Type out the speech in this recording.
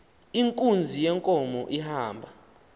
inkunzi yenkomo ihamba